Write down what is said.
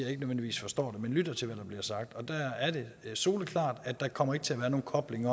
at de nødvendigvis forstår det men lytter til hvad der bliver sagt og det er soleklart at der ikke kommer til at være nogen kobling